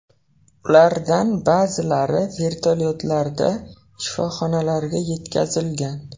Ulardan ba’zilari vertolyotlarda shifoxonalarga yetkazilgan.